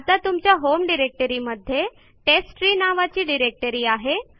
आता तुमच्या होम डिरेक्टरीमध्ये टेस्टट्री नावाची डिरेक्टरी आहे